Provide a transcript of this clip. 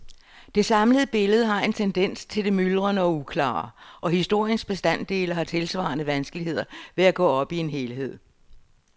Det samlede billede har en tendens til det myldrende og uklare, og historiens bestanddele har tilsvarende vanskeligheder ved at gå op i en helhed.